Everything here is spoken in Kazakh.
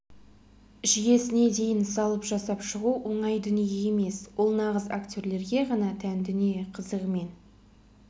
жүйесіне дейін салып жасап шығу оңай дүние емес ол нағыз актерлерге ғана тән дүние қызығымен